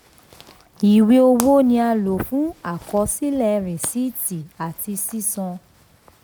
ìwé owó ni a nlo fún àkọsílẹ̀ risiiti ati sisan.